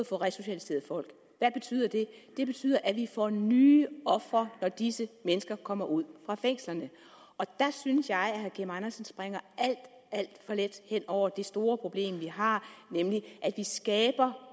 få resocialiseret folk hvad betyder det det betyder at vi får nye ofre når disse mennesker kommer ud af fængslerne der synes jeg at herre kim andersen springer alt for let hen over det store problem vi har nemlig at vi skaber